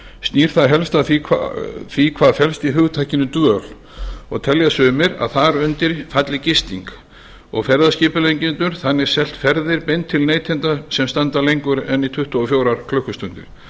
snýr það helst að því hvað felst í hugtakinu dvöl og telja sumir að þar undir falli gisting og ferðaskipuleggjendur þannig selt ferðir beint til neytenda sem standa lengur en í tuttugu og fjórar klukkustundir